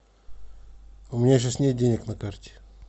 у меня сейчас нет денег на карте